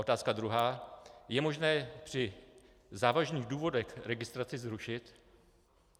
Otázka druhá: Je možné při závažných důvodech registraci zrušit?